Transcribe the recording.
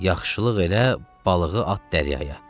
Yaxşılıq elə, balığı at dəryaya.